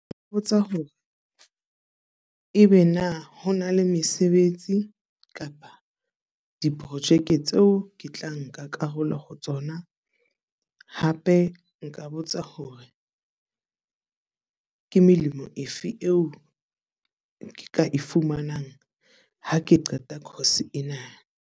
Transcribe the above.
Mpotsa hore ebe na ho na le mesebetsi kapa diprojeke tseo ke tla nka karolo ho tsona. Hape nka botsa hore ke melemo efe eo ke ka e fumanang ha ke qeta course ena.